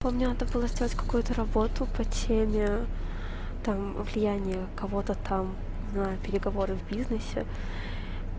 помню надо было сделать какую-то работу по теме там влияние кого-то там на переговоры в бизнесе